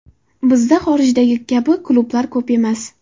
Bizda xorijdagi kabi klublar ko‘p emas.